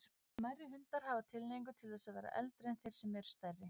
Smærri hundar hafa tilhneigingu til þess að verða eldri en þeir sem eru stærri.